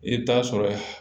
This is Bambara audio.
I bɛ taa sɔrɔ